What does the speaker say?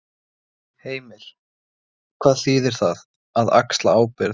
Heimir: Hvað þýðir það, að axla ábyrgð?